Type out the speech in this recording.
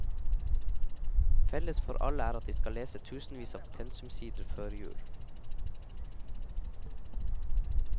Felles for alle er at de skal lese tusenvis av pensumsider før jul.